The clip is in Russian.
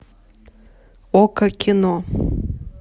окко кино